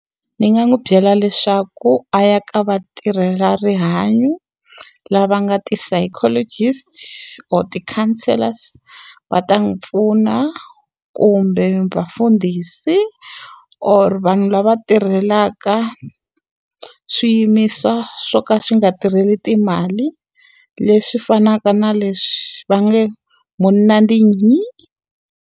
Ni nga n'wi byela leswaku a ya ka va tirhelarihanyo lava nga ti-psychologists or ti-counselors va ta n'wi pfuna. Kumbe vafundhisi or vanhu lava tirhelaka swiyimiso swo ka swi nga tirheli timali, leswi fanaka na leswi va nge munna ndi nyi.